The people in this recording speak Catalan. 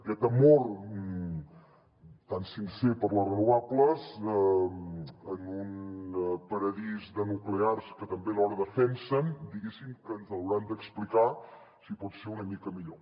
aquest amor tan sincer per les renovables en un paradís de nuclears que també alhora defensen diguéssim que ens hauran d’explicar si pot ser una mica millor